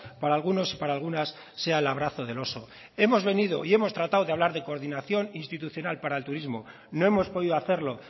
para algunos y para algunas sea el abrazo del oso hemos venido y hemos tratado de hablar de coordinación institucional para el turismo no hemos podido hacerlo